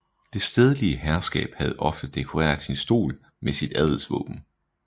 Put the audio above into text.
Det stedlige herskab havde ofte dekoreret sin stol med sit adelsvåben